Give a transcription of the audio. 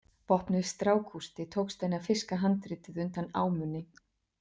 Vopnuð strákústi tókst henni að fiska handritið undan ámunni.